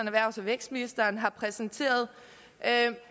erhvervs og vækstministeren har præsenteret